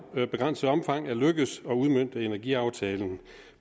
begrænset omfang er lykkedes at udmønte energiaftalen